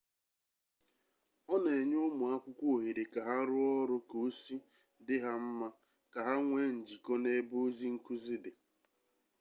ọ na enye ụmụ akwụkwọ ohere ka ha rụọ ọrụ ka osi dị ha mma ka ha nwee njikọ n'ebe ozi nkuzi dị